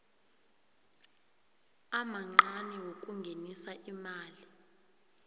amancani wokungenisa imali